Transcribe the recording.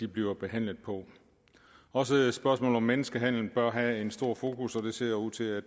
bliver behandlet på også spørgsmålet om menneskehandel bør have et stort fokus og det ser ud til at